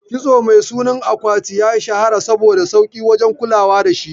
Kitso mai sunan akwati ya shahara saboda sauki wajen kulawa dashi